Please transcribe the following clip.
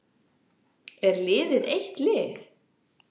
Er liðið eitt lið?